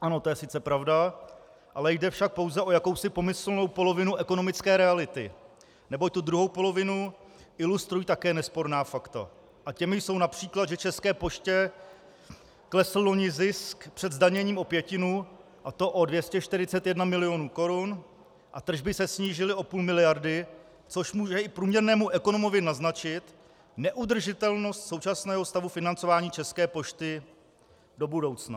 Ano, to je sice pravda, ale jde však pouze o jakousi pomyslnou polovinu ekonomické reality, neboť tu druhou polovinu ilustrují také nesporná fakta a těmi jsou například, že České poště klesl loni zisk před zdaněním o pětinu, a to o 241 milionů korun, a tržby se snížily o půl miliardy, což může i průměrnému ekonomovi naznačit neudržitelnost současného stavu financování České pošty do budoucna.